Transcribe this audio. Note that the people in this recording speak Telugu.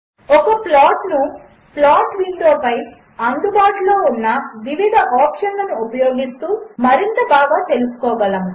ఒకప్లాట్నుప్లాట్విండోపైఅందుబాటులోఉన్నవివిధఆప్షన్లనుఉపయోగిస్తూమరింతబాగాతెలుసుకోగలము